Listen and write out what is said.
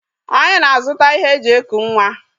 Anyi na-azụta ihe e ji eku nwa.